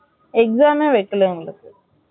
exam ம்மே வைக்கல எங்களுக்கு